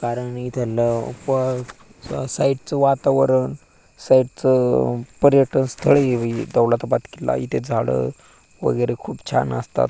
कारण इथ लवकर साइड च वातावरण साइड च पर्यटन स्थळ हे दैलाताबाद किल्ला इथ झाड वेगेरे खूप छान असतात.